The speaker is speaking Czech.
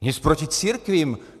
Nic proti církvím.